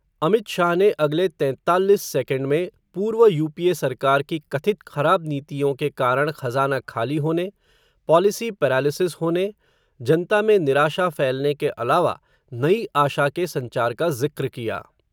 अमित शाह ने अगले तैंताल्लिस सेकेंड में, पूर्व यूपीए सरकार की कथित ख़राब नीतियों के कारण, खज़ाना खाली होने, पॉलिसी पैरालिसिस होने, जनता में निराशा फैलने के अलावा, नई आशा के संचार का ज़िक्र किया.